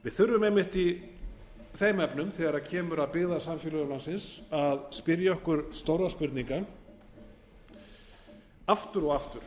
við þurfum einmitt í þeim efnum þegar kemur að byggðasamfélögum landsins að spyrja okkur stórra spurninga aftur og aftur